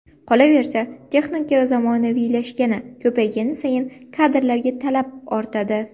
Qolaversa, texnika zamonaviylashgani, ko‘paygani sayin kadrlarga talab ortadi.